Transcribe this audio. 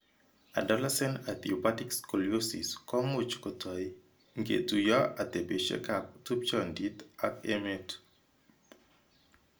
Adolescent idiopathic scoliosis komuch kotoi ngetuiyo atebeshekab tupchondit ak emet.